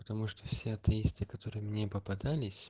потому что все атеисты которые мне попадались